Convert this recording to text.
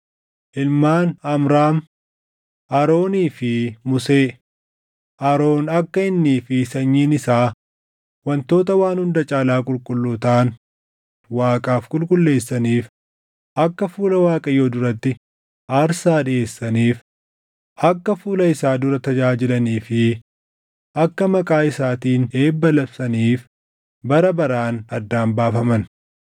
Ilmaan Amraam: Aroonii fi Musee. Aroon akka innii fi sanyiin isaa wantoota waan hunda caalaa qulqulluu taʼan Waaqaaf qulqulleessaniif, akka fuula Waaqayyoo duratti aarsaa dhiʼeessaniif, akka fuula isaa dura tajaajilanii fi akka maqaa isaatiin eebba labsaniif bara baraan addaan baafaman.